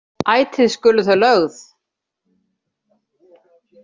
Ætíð skulu þau lögð.